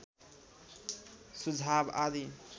सुझाव आदि